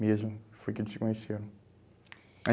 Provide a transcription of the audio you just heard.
Mesmo, foi que eles se conheceram. Eh